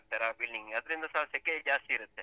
ಆ building ಗೆ ಅದ್ರಿಂದಸ ಸೆಕೆ ಜಾಸ್ತಿ ಇರುತ್ತೆ.